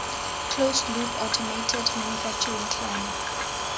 closed loop automated manufacturing clam